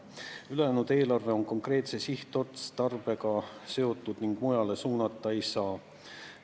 Ülejäänud eelarveraha on konkreetse sihtotstarbega seotud ning mujale suunata seda ei saa.